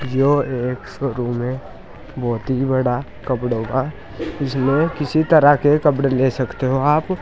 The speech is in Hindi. यह एक शोरूम है बहोत ही बड़ा कपड़ों का जिसमें किसी तरह के कपड़े ले सकते हो आप।